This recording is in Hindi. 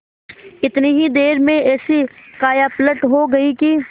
इतनी ही देर में ऐसी कायापलट हो गयी कि